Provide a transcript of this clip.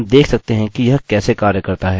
अतः हम देख सकते हैं कि यह कैसे कार्य करता है